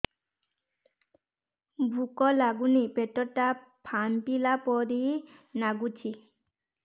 ଭୁକ ଲାଗୁନି ପେଟ ଟା ଫାମ୍ପିଲା ପରି ନାଗୁଚି